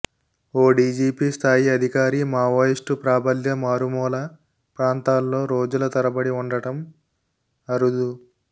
ఓ DGP స్థాయి అధికారి Maoist ప్రాబల్య మారుమూల ప్రాంతాల్లో రోజుల తరబడి ఉండటం అరుదు